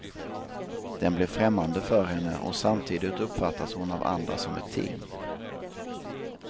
Den blir främmande för henne, och samtidigt uppfattas hon av andra som ett ting.